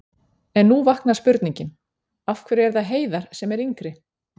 En nú vaknar spurningin: Af hverju er það Heiðar sem er yngri?